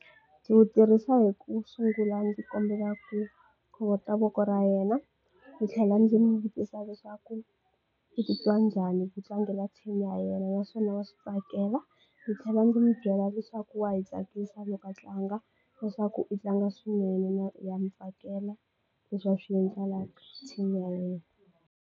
Ndzi wu tirhisa hi ku sungula ndzi kombela ku khovota voko ra yena ndzi tlhela ndzi n'wi vutisa leswaku u titwa njhani ku tlangela team ya yena naswona wa switsakela ndzi tlhela ndzi n'wi byela leswaku wa hi tsakisa loko a tlanga leswaku i tlanga swinene ha mi tsakela leswi a swi endlelaka team ya yena.